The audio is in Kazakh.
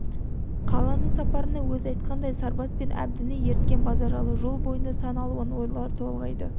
қаланың сапарына өзі айтқандай сарбас пен әбдіні ерткен базаралы жол бойында сан алуан ойлар толғайды